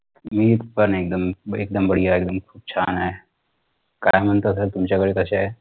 मी पण एकदम ब एकदम बढिया एक्दम खूप छान आहे काय म्हणता sir तुमच्याकडे कशे आहे